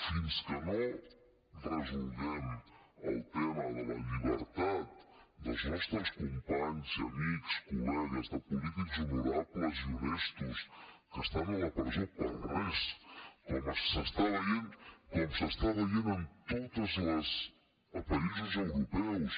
fins que no resolguem el tema de la llibertat dels nostres companys i amics col·legues de polítics honorables i honestos que estan a la presó per res com s’està veient en tots els països europeus